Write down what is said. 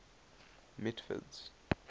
mitford's